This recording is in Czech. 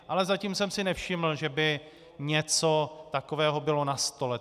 Ale zatím jsem si nevšiml, že by něco takového bylo na stole.